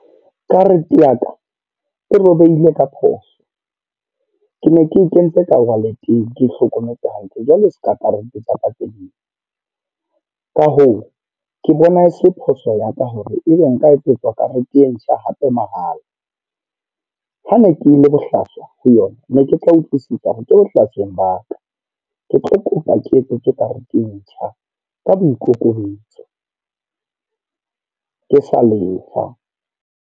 Karete ya ka, e robehile ka phoso. Ke ne ke kentse ka wallet-eng, ke e hlokometse hantle. Jwale seka karete tsa ka tse ding. Ka hoo, ke bona e se phoso ya ka hore ebe nka etsetswa karete e ntjha hape mahala. Ha ne ke le bohlaswa ho yona, ne ke tla utlwisisa hore ke bohlasweng ba ka. Ke tlo kopa ke etsetswe karete e ntjha ka boikokobetso. Ke sa lefa.